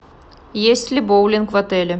есть ли боулинг в отеле